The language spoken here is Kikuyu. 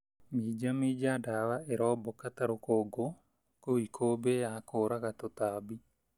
Minja minja ndawa ĩrombũka ta rũkũngũ kũu ikũmbĩ ya kũraga tũtambi.